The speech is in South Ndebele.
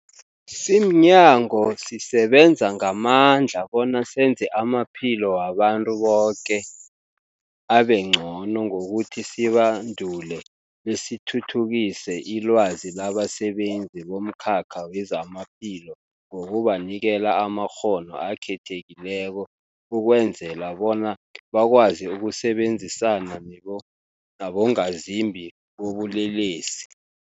Simnyango, sisebenza ngamandla bona senze amaphilo wabantu boke abengcono ngokuthi sibandule besithuthukise ilwazi labasebenzi bomkhakha wezamaphilo ngokubanikela amakghono akhethekileko ukwenzela bona bakwazi ukusebenzisana nabongazimbi bobulelesi.